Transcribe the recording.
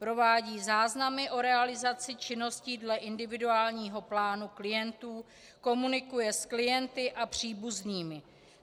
Provádí záznamy o realizaci činností dle individuálního plánu klientů, komunikuje s klienty a příbuznými.